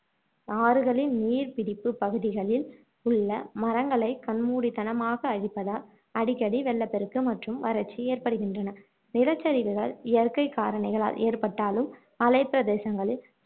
ஆறுகளின் நீர்ப் பிடிப்பு பகுதிகளில் உள்ள மரங்களை கண்மூடித்தனமாக அழிப்பதால் அடிக்கடி வெள்ளப்பெருக்கு மற்றும் வறட்சி ஏற்படுகின்றன நிலச்சரிவுகள் இயற்கை காரணிகளால் ஏற்பட்டாலும் மலைப்பிரதேசங்களில்